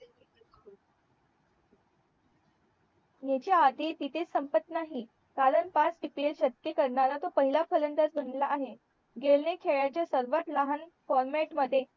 ह्याच्या अर्थी तिथेच संपत नाही कारण पाच CPL करणारा तोच पहिला फलंदाज बनलेला आहे गेल ने खेळाच्या सर्वात लहान format मध्ये